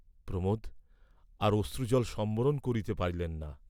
প্রমোদ, আর অশ্রুজল সম্বরণ করিতে পারিলেন না।